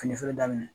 Fini feere daminɛ